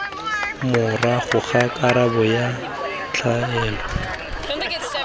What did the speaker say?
morago ga karabo ya tlwaelo